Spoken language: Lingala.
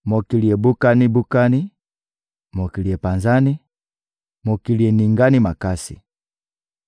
Mokili ebukani-bukani, mokili epanzani, mokili eningani makasi.